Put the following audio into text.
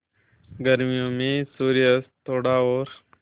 गर्मियों में सूर्यास्त थोड़ा और